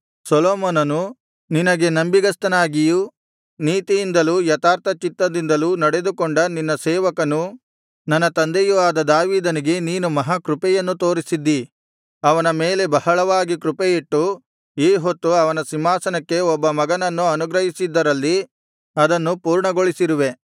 ನಿನಗೆ ನಂಬಿಗಸ್ತನಾಗಿಯೂ ನೀತಿಯಿಂದಲೂ ಯಥಾರ್ಥಚಿತ್ತದಿಂದಲೂ ನಡೆದುಕೊಂಡ ನಿನ್ನ ಸೇವಕನೂ ನನ್ನ ತಂದೆಯೂ ಆದ ದಾವೀದನಿಗೆ ನೀನು ಮಹಾ ಕೃಪೆಯನ್ನು ತೋರಿಸಿದ್ದೀ ಅವನ ಮೇಲೆ ಬಹಳವಾಗಿ ಕೃಪೆಯಿಟ್ಟು ಈಹೊತ್ತು ಅವನ ಸಿಂಹಾಸನಕ್ಕೆ ಒಬ್ಬ ಮಗನನ್ನು ಅನುಗ್ರಹಿಸಿದ್ದರಲ್ಲಿ ಅದನ್ನು ಸಂಪೂರ್ಣಗೊಳಿಸಿರುವೆ